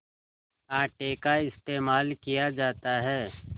आटे का इस्तेमाल किया जाता है